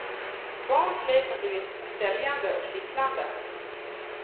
Barns lek har blivit säljande och kittlande.